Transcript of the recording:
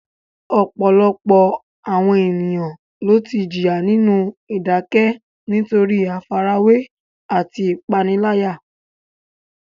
Ọ̀pọ̀lọpọ̀ àwọn ènìyàn ló ti jìyà nínú ìdákẹ́ nítorí àfarawé àti ìpániláyà.